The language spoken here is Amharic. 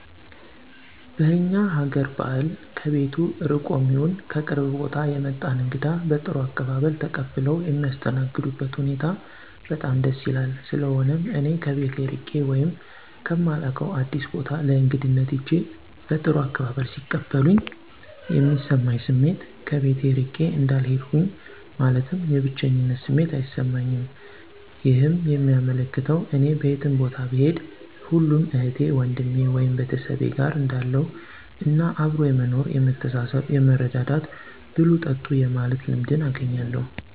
በእኛ ሀገአር ባህል ከቤቱ ርቆም ይሁን ከቅርብ ቦታ የመጣን እንግዳ በጥሩ አቀባበል ተቀብለው የሚያስተናግዱበት ሁኔታ በጣም ደስ ይላል። ስለሆነም እኔ ከቤቴ እርቄ ወይም ከማላውቀው አዲስ ቦታ ለእግድነት ሂጀ በጥሩ አቀባበል ሲቀበሉኝ የሚሰማኝ ስሜት ከቤቴ እርቄ እንዳልሄድሁኝ ማለትም የብቸኝነት ስሜት አይሰማኝም ይህም የሚያመለክተው እኔ በየትም ቦታ ብሄድ ሁሉም እህቴ ወንድሜ(ቤተሰቤ)ጋር እንዳለሁ እና አብሮ የመኖር የመተሳሰብ የመረዳዳት፣ ብሉ ጠጡ የማለት ልምድንም አገኛለሁ።